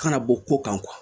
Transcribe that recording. Kana bɔ ko kan kuwa